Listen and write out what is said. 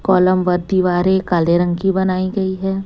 Column व दिवारे काले रंग की बनाई गई है।